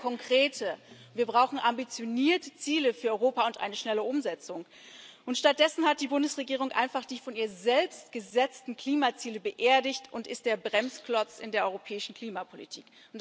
Wir brauchen konkrete, wir brauchen ambitionierte Ziele für Europa und eine schnelle Umsetzung. Stattdessen hat die Bundesregierung einfach die von ihr selbst gesetzten Klimaziele beerdigt und ist der Bremsklotz in der europäischen Klimapolitik.